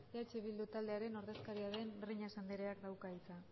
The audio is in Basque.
eh bildu taldearen ordezkaria den breñas andreak dauka hitza